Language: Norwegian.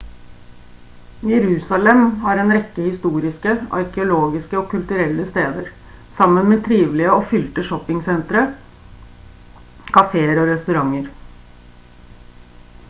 jerusalem har en rekke historiske arkeologiske og kulturelle steder sammen med trivelige og fylte shoppingsentre caféer og restauranter